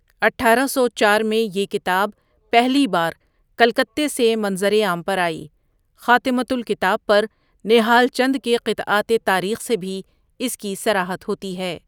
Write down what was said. اٹھارہ سو چار میں یہ کتاب پہلی بار کلکتے سے منظرِ عام پر آئی خاتمہ الکتاب پر نہال چند کے قطعاتِ تاریخ سے بھی اس کی صراحت ہوتی ہے۔